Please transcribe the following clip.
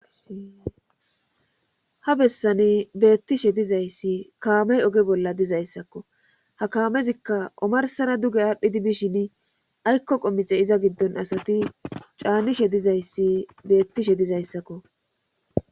Ha bessani beettishe dizayssi kaamey oge bolla dizayssakko ha kaamezikka omarsara duge aadhdhidi bishin aykko qommixe iza giddon asati caanishe dizayssi beettishe dizayssakko.